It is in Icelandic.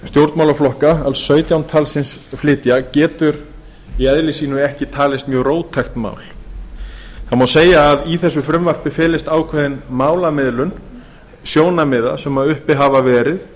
stjórnmálaflokka alls sautján talsins flytja getur í eðli sínu ekki talist mjög róttækt mál það má segja að í þessu frumvarpi felist ákveðin málamiðlun sjónarmiða sem uppi hafa verið